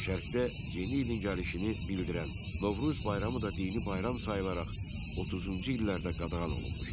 Şərqdə yeni ilin gəlişini bildirən Novruz bayramı da dini bayram sayılaraq 30-cu illərdə qadağan olunmuşdu.